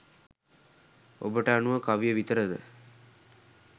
ඔබට අනුව කවිය විතරද